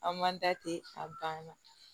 An man da ten a banna